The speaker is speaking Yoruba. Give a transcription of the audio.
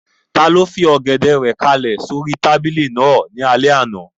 Taló fi Ọ̀gẹ̀dẹ̀ rẹ̀ kálẹ̀ sóri tábìlì náà ní alẹ́ àná?